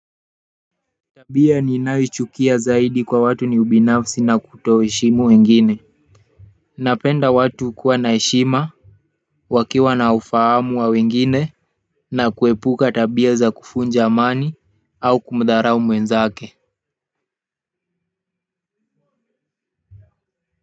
Tabia ninayo ichukia zaidi kwa watu ni ubinafsi na kuto heshimu wengine napenda watu kuwa na heshima wakiwa na ufahamu wa wengine na kuepuka tabia za kuvunja amani au kumdharau mwenzake.